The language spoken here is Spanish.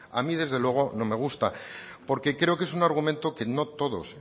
a mí desde luego no me gusta porque creo que es un argumento que no todos